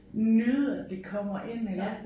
Nyde at det kommer ind iggås